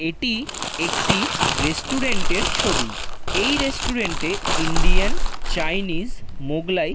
এটি একটি রেস্টুরেন্ট এর ছবি এই রেস্টুরেন্ট এ ইন্ডিয়ান চাইনিজ মুঘলাই--